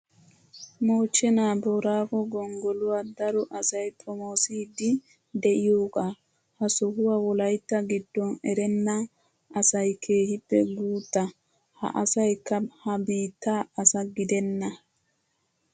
Moochenaa booraago gonggoluwaa daro asayi xomoosiiddi diyoogaa. Ha sohaa wolayitta giddon erenna asaay keehippe guutta ha asayikka ha biitta asa gidenna.